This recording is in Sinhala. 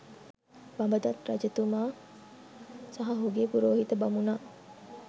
බඹදත් රජතුමා සහ ඔහුගේ පුරෝහිත බමුණා